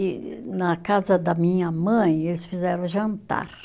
E na casa da minha mãe, eles fizeram jantar.